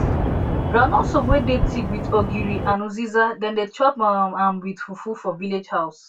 groundnut soup wey dey thick with ogiri and uziza dem dey chop um am with fufu for village house